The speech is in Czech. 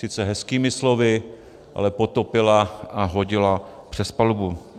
Sice hezkými slovy, ale potopila a hodila přes palubu.